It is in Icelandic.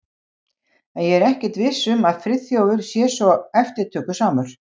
En ég er ekkert viss um að Friðþjófur sé svo eftirtökusamur.